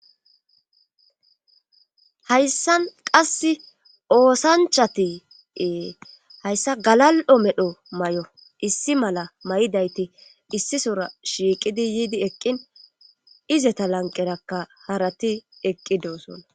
Hayssan qasse oosanchati ee hayssa galal7o medho may7o issi mala may7idayti issisora shiiqidi yiidi eqqin izeta lanqerakka harati eqqi doosonna.